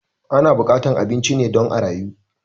Ana buƙatan abinci ne don a rayu